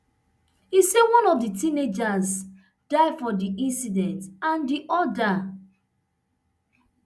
e say one of di teenagers die for di scene and di oda